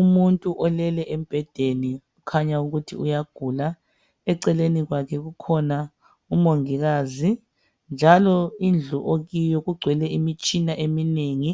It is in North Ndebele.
Umuntu olele embhedeni kukhanya ukuthi uyagula eceleni kwakhe kukhona umongikazi njalo indlu okiyo kugcwele imitshina eminengi